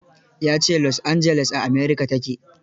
Ya ce Los Angeles a America ta ke.